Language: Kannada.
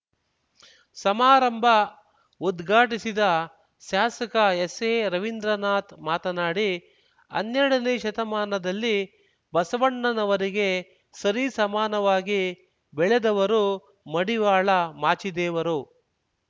ಸಮಾರಂಭ ಉದ್ಘಾಟಿಸಿದ ಶಾಸಕ ಎಸ್‌ಎರವಿಂದ್ರನಾಥ್ ಮಾತನಾಡಿ ಹನ್ನೆರಡನೇ ಶತಮಾನದಲ್ಲಿ ಬಸವಣ್ಣನವರಿಗೆ ಸರಿ ಸಮಾನವಾಗಿ ಬೆಳೆದವರು ಮಡಿವಾಳ ಮಾಚಿದೇವರು